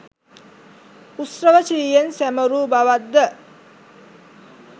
උත්සව ශ්‍රීයෙන් සැමරූ බවක්ද